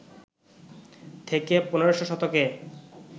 থেকে ১৫শ শতকে